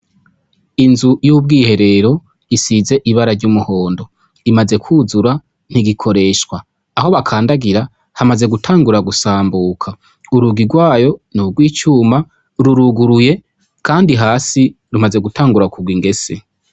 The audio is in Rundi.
Inzu y' ubwiherero isize ibara ry' umuhondo imaze kwuzura ntigikoreshwa aho bakandagira hamaze gutangura gusambuka urugi gwayo ni ugwicuma ruruguruye kandi hasi rumaze gutangura kugwa ingese.